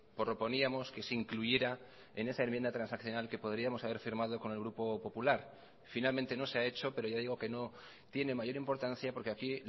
proponíamos que se incluyera en esa enmienda transaccional que podríamos haber firmado con el grupo popular finalmente no se ha hecho pero ya digo que no tiene mayor importancia porque aquí